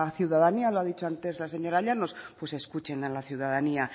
ciudadanía lo ha dicho antes la señora llanos pues escuchen a la ciudadanía